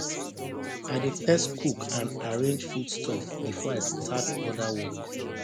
i dey first cook and arrange foodstuff before i start other work